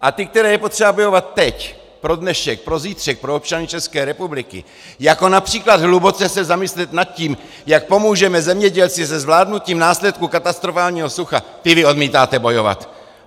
A ty, které je potřeba bojovat teď pro dnešek, pro zítřek, pro občany České republiky, jako například hluboce se zamyslet nad tím, jak pomůžeme zemědělcům se zvládnutím následků katastrofálního sucha, ty vy odmítáte bojovat.